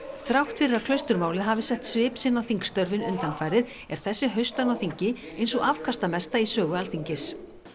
þrátt fyrir að hafi sett svip sinn á þingstörfin undanfarið er þessi haustönn á þingi ein sú afkastamesta í sögu Alþingis